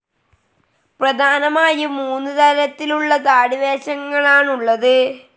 പ്രധാനമായും മൂന്ന് തരത്തിലുള്ള താടി വേഷങ്ങളാണുള്ളത്.